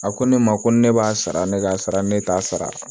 A ko ne ma ko ne b'a sara ne k'a sara ne t'a sara